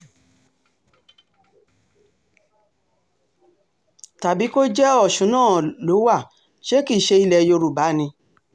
tàbí tó jẹ́ ọ̀ṣun náà ló wá ṣe kì í ṣe ilẹ̀ yorùbá ni